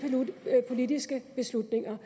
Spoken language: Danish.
politiske beslutninger